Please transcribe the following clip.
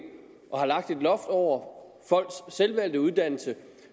har lagt et loft over folks selvvalgte uddannelse